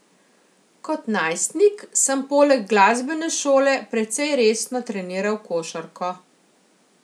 Kot najstnik sem poleg glasbene šole precej resno treniral košarko.